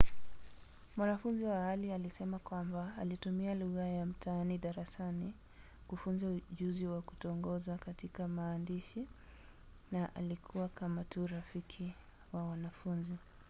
mwanafunzi wa awali alisema kwamba ‘alitumia lugha ya mtaani darasani kufunza ujuzi wa kutongoza katika maandishi na alikuwa kama tu rafiki wa wanafunzi.’